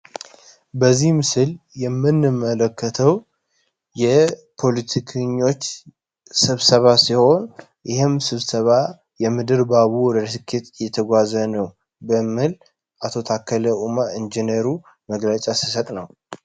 በዚህ ምስል የምንመለከተው የፖለቲከኞች ስብሰባ ሲሆን ይህም ስብሰባ ሁኔታ በጥሩ ሁኔታ እየተጓዘ ነው ታከለ ዑማ ኢንጅነሩ መግለጫ ሲሰጥ ነው።